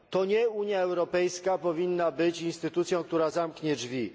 To nie Unia Europejska powinna być instytucją, która zamknie drzwi.